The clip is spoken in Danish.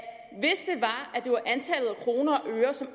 kroner og øre som